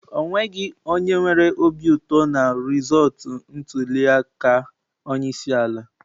O nweghị onye nwere obi ụtọ na rizọọtụ ntuli aka onye isi ala.